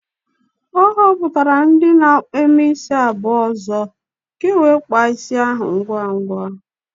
O hopụtara ndi na-eme isi abuo ozo ka e nwee kpaa isi ahu ngwa ngwa